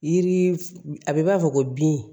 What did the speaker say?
Yiri f a bɛ b'a fɔ ko bin